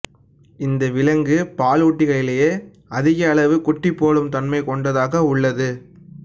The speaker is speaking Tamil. இந்த விலங்கு பாலூட்டிகளிலேயே அதிக அளவு குட்டிபோடும் தன்மை கொண்டதாக உள்ளது